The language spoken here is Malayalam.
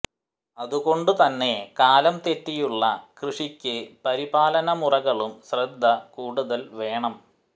അതുകൊണ്ടു തന്നെ കാലം തെറ്റിയുളള കൃഷിയ്ക്ക് പരിപാലനമുറകളും ശ്രദ്ധ കൂടുതല് വേണം